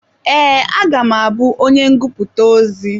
Ee, a ga m abú onye ngụputa ozi.